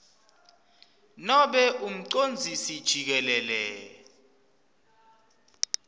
nobe umcondzisi jikelele